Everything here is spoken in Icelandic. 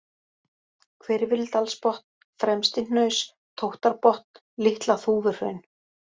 Hvirfildalsbotn, Fremstihnaus, Tóttarbotn, Litla-Þúfuhraun